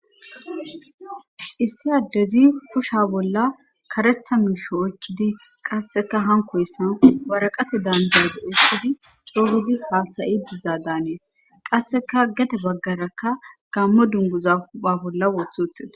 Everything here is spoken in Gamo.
issi addezi kusha bolla karetha miisho oykkidi qasseka hankoyessan waraqate danizazi oykkidi coogidi haasayi dizaa daanees qasseka gade baggarakka gammo dunguza hupha bolla woothi othida